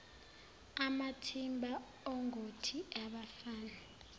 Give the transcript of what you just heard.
amathimba ongoti abafana